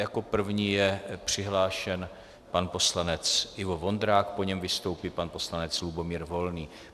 Jako první je přihlášen pan poslanec Ivo Vondrák, po něm vystoupí pan poslanec Lubomír Volný.